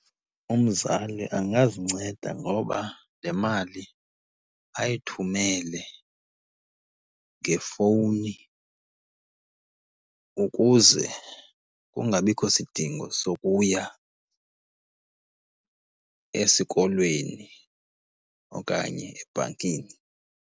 Umzali angazinceda ngoba le mali ayithumele ngefowuni ukuze kungabikho sidingo sokuya esikolweni okanye ebhankini.